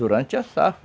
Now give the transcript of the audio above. Durante a safra.